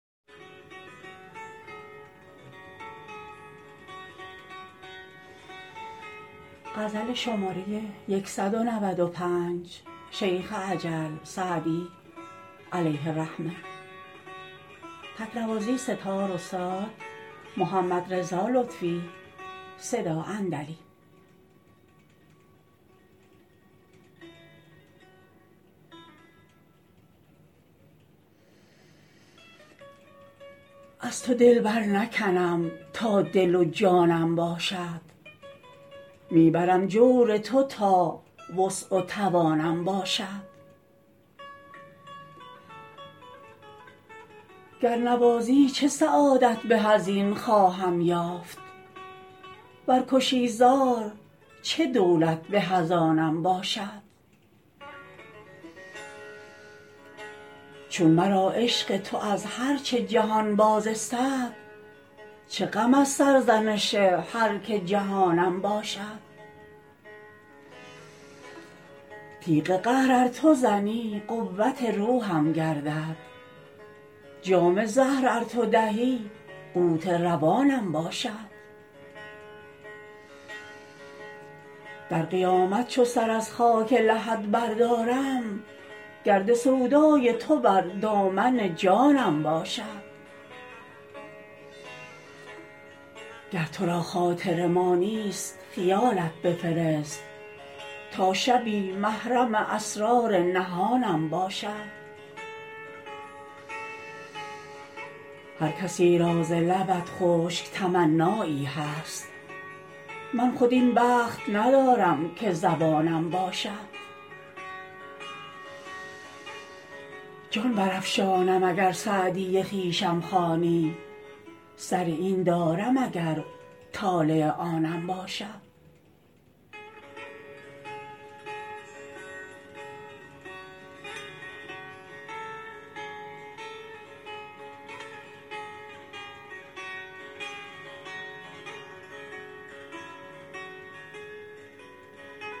از تو دل برنکنم تا دل و جانم باشد می برم جور تو تا وسع و توانم باشد گر نوازی چه سعادت به از این خواهم یافت ور کشی زار چه دولت به از آنم باشد چون مرا عشق تو از هر چه جهان باز استد چه غم از سرزنش هر که جهانم باشد تیغ قهر ار تو زنی قوت روحم گردد جام زهر ار تو دهی قوت روانم باشد در قیامت چو سر از خاک لحد بردارم گرد سودای تو بر دامن جانم باشد گر تو را خاطر ما نیست خیالت بفرست تا شبی محرم اسرار نهانم باشد هر کسی را ز لبت خشک تمنایی هست من خود این بخت ندارم که زبانم باشد جان برافشانم اگر سعدی خویشم خوانی سر این دارم اگر طالع آنم باشد